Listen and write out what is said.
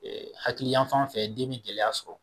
hakili yanfan fɛ den be gɛlɛya sɔrɔ